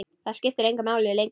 Það skipti engu máli lengur.